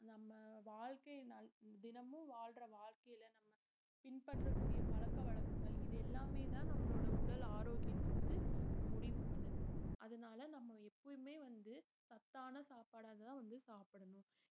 நம்ம வாழ்க்கையில நல்~ தினமும் வாழ்ற வாழ்க்கைல நம்ம பின்பற்றக்கூடிய பழக்கவழக்கங்கள் இது எல்லாமேதான் நம்மளோட உடல் ஆரோக்கியத்த வந்து முடிவு பண்ணுது அதனால நம்ம எப்பவுமே வந்து சத்தான சாப்பாடாதான் வந்து சாப்பிடணும்